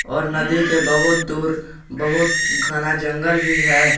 और नदी के बहोत दूर बहोत घना जंगल भी है।